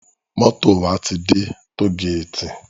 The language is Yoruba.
Moto wá ti dè tógéti